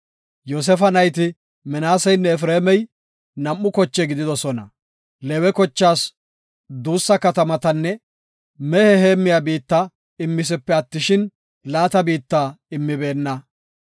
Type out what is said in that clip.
Yoosefa nayti Minaaseynne Efreemey nam7u koche gididosona. Leewe kochaas duussa katamatanne mehe heemmiya biitta immisipe attishin, laata biitta immibeenna.